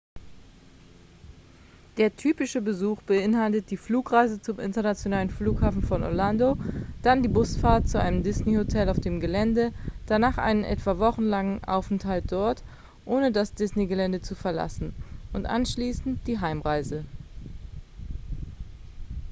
der ‍‌‍typische” besuch beinhaltet die flugreise zum internationalen flughafen von orlando dann die busfahrt zu einem disney-hotel auf dem gelände danach einen etwa wochenlangen aufenthalt dort ohne das disney-gelände zu verlassen und anschließend die heimreise